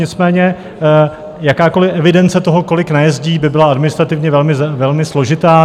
Nicméně jakákoliv evidence toho, kolik najezdí, by byla administrativně velmi složitá.